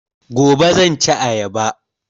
Gobe zan ci ayaba